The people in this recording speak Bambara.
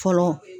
Fɔlɔ